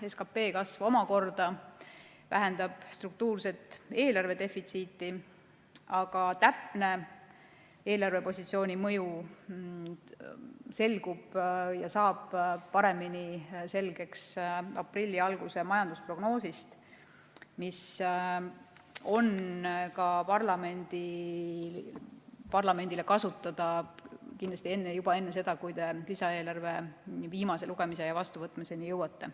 SKP kasv omakorda vähendab struktuurset eelarvedefitsiiti, aga täpne eelarvepositsiooni mõju selgub ja saab paremini selgeks aprilli alguse majandusprognoosis, mis on parlamendile kasutada kindlasti juba enne seda, kui te lisaeelarve viimase lugemise ja vastuvõtmiseni jõuate.